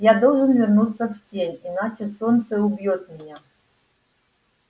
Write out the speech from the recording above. я должен вернуться в тень иначе солнце убьёт меня